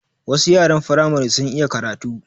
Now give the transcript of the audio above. Wasu yaran Firamare sun iya karatu